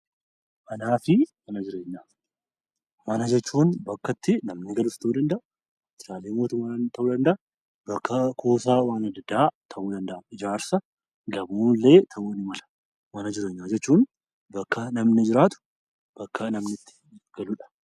Manaa fi mana jireenyaa. Mana jechuun bakka itti namni galus ta'uu danda'a, waajjiraalee mootummaas ta'uu danda'a, bakka kuusaa waan adda addaa ta'uu danda'a, ijaarsa gamoolee ta'uu ni mala. Mana jireenyaa jechuun bakka namni jiraatu, bakka namni itti galuudha.